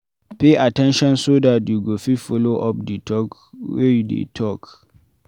pay at ten tion so dat you go fit follow up di talk wey you dey talk